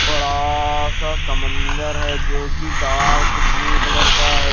बड़ा सा समंदर है जो कि डार्क ब्लू कलर का है।